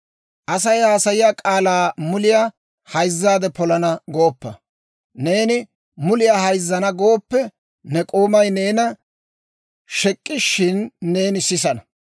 Asay haasayiyaa k'aalaa muliyaa hayzzaadde polana gooppa; neeni muliyaa hayzzana gooppe, ne k'oomay neena shek'k'ishshin, neeni sisana.